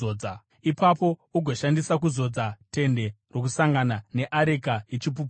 Ipapo ugoashandisa kuzodza Tende Rokusangana, neareka yeChipupuriro,